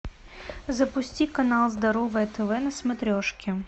запусти канал здоровое тв на смотрешке